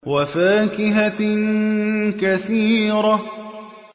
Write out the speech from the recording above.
وَفَاكِهَةٍ كَثِيرَةٍ